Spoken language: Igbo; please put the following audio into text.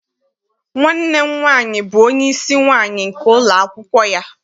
Nwanne m nwaanyị bụ onyeisi nwaanyị nke ụlọakwụkwọ ya.